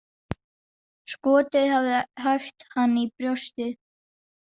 Skotið hafði hæft hann í brjóstið.